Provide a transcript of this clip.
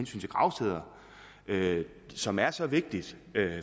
til gravsteder som er så vigtige